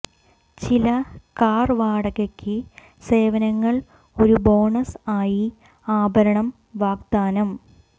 ചില കാർ വാടകയ്ക്ക് സേവനങ്ങൾ ഒരു ബോണസ് ആയി ആഭരണം വാഗ്ദാനം